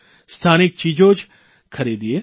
સ્થાનિક ચીજો જ ખરીદીએ